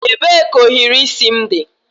Ebee ka ohiri isi m dị?